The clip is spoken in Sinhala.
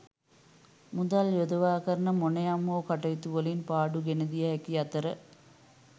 මුදල් යොදවා කරන මොනයම් හෝ කටයුතුවලින් පාඩු ගෙනදිය හැකි අතර